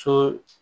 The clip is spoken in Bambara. Sɔ